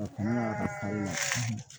O kɔnɔna